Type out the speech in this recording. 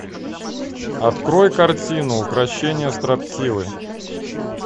открой картину укрощение строптивой